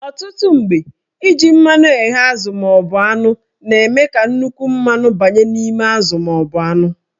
Ọtụtụ mgbe, iji mmanụ ghee azụ maọbụ anụ na-eme ka nnukwu mmanụ banye n'ime azụ maọbụ anụ